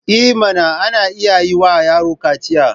I mana! ana iya yi wa yaron kaciya.